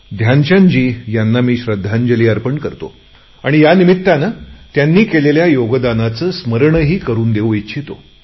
ध्यानचंदजी यांना मी श्रध्दांजली अर्पण करतो आणि यानिमित्ताने त्यांनी केलेल्या योगदानाचे स्मरणही करु इच्छितो